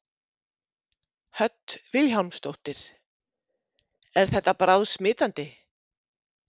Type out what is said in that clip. Hödd Vilhjálmsdóttir: Er þetta bráðsmitandi?